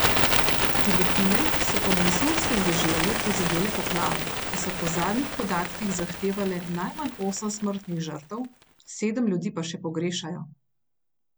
Filipine so po monsunskem deževju prizadele poplave, ki so po zadnjih podatkih zahtevale najmanj osem smrtnih žrtev, sedem ljudi pa še pogrešajo.